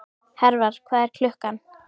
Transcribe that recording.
Hervar, hvað er klukkan?